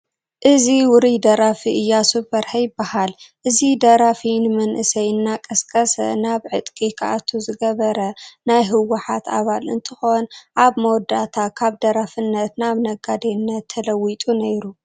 እዚ ውሩይ ደራፊ ኢያሱ በርሀ ይበሃል፡፡ እዚ ደራፊ ንመንእሰይ እናቐስቀሰ ናብ ዕጥቂ ክኣቱ ዝገበረ ናይ ሕወሓት ኣባል እንትኾን ኣብ መወዳእታ ካብ ደራፊነት ናብ ነጋዴነት ተለዊጡ ነይሩ፡፡